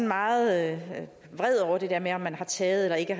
meget vred over det der med om man har taget eller ikke